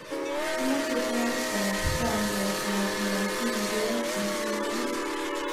Amache taitab rangiatab machungwek nguno